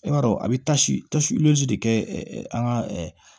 E b'a dɔn a bɛ tasi ta de kɛ an ka